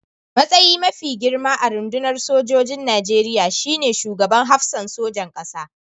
Matsayi mafi girma a rundunar sojin Nigeriya shi ne Shugaban Hafsan Sojan ƙasa.